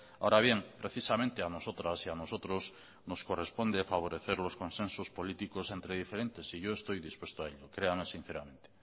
ahora bien precisamente a nosotras y a nosotros nos corresponde favorecer los consensos políticos entre diferentes y yo estoy dispuesto a ello créame sinceramente